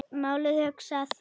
Málið hugsað.